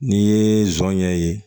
N'i ye zɔnɲɛ ye